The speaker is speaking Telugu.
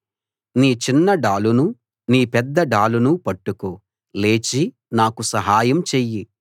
నీ చిన్న డాలునూ నీ పెద్ద డాలునూ పట్టుకో లేచి నాకు సహాయం చెయ్యి